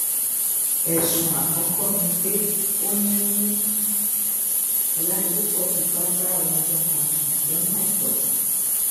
ẹ̀sùn àkọ́kọ́ ni pé ó ní oládìpúpọ̀ fipá bá omidan kan sùn lọ́nà àìtọ́